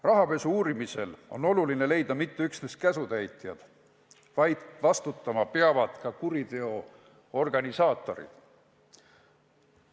" Rahapesu uurimisel on oluline leida mitte üksnes käsutäitjad, vastutama peavad ka kuriteo organisaatorid.